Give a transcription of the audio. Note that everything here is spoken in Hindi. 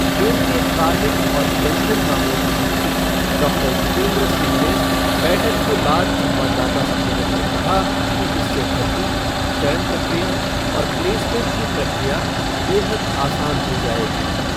केन्द्रीय कार्मिक और पेंशन मामलों के मंत्री डॉक्टर जितेन्द्र सिंह ने बैठक के बाद संवाददाता सम्मेलन में कहा कि इससे भर्ती, चयन प्रक्रिया और प्लेसमेंट की प्रक्रिया बेहद आसान हो जायेगी।